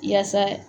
Yaasa